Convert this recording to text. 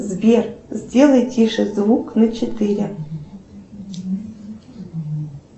сбер сделай тише звук на четыре